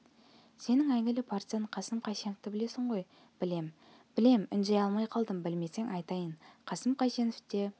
сенің әйгілі партизан қасым қайсеновты білесің ғой білем білем үндей алмай қалдым білмесең айтайын қасым қайсеновте